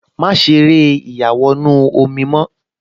Má ṣe eré ìyàwọnù-omi mọ́